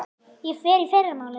Ég fer í fyrramálið.